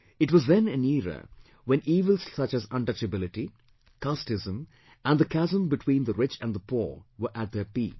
It was then an era when evils such as untouchability, casteism and the chasm between the rich and the poor were at their peak